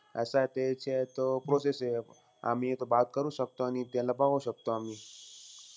कसंय ते तो process हे. आम्ही हे तो बात करू शकतो आणि त्याला बघू शकतो आम्ही.